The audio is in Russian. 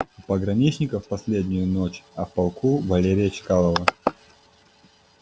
у пограничников последнюю ночь а в полку валерия чкалова